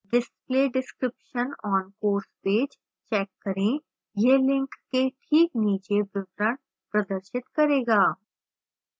display description on course page check करें यह link के this नीचे विवरण प्रदर्शित करेगा